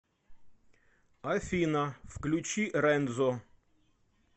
афина включи рензо